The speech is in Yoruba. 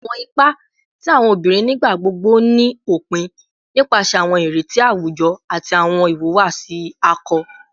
Awọn ipa ti awọn obinrin nigbagbogbo ni opin nipasẹ awọn ireti awujọ ati awọn iwuwasi akọ